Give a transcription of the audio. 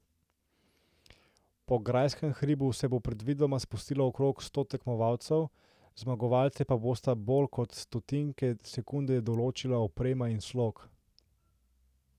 Po grajskem hribu se bo predvidoma spustilo okrog sto tekmovalcev, zmagovalce pa bosta bolj kot stotinke sekunde določila oprema in slog.